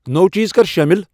نٔو چیز کر شٲمل۔